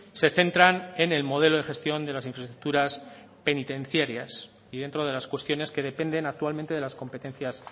se centran en el modelo de gestión de las infraestructuras penitenciarias y dentro de las cuestiones que dependen actualmente de las competencias